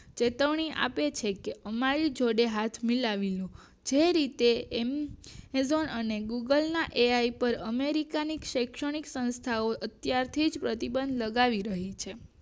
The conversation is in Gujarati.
ચેતવણી આપે છે કે અમારી જોડે હાથ મિલાવી લો જે રીતે એમ ઝગણ અને ગુગલ ના અધ્યાય પર અમેરિકન શેક્ષણિક સંસ્થાઓ અત્યારથી જ પ્રતિબંધ લગાવી દીધો છે